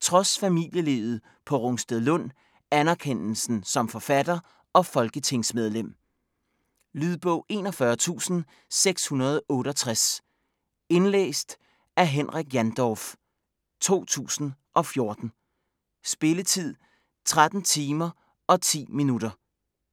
trods familielivet på Rungstedlund, anerkendelsen som forfatter og folketingsmedlem. Lydbog 41668 Indlæst af Henrik Jandorf, 2014. Spilletid: 13 timer, 10 minutter.